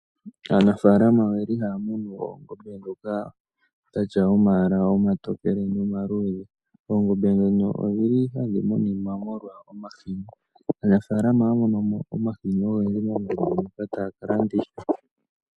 Aanafalama oyeli haya munu oongombe dhoka dhina omalwaala omatokele nomaluudhe oongombe dhono odhili hadhi muninwa molwa omahini .